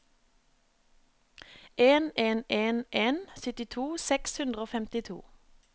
en en en en syttito seks hundre og femtito